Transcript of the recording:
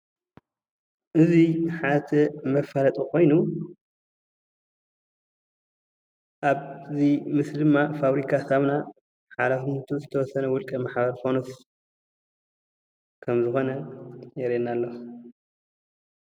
እዚ ሓደ መፋለጢ ኮይኑ ኣብዚ ምስሊ ድማ ፋብሪካ ሳሙና ሓላፍነቱ ዝተወሰነ ውልቀ ማሕበር ፋኖስ ከምዝኮነ የርእየና ኣሎ፡፡